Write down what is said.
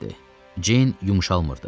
Ceyn yumşalmırdı.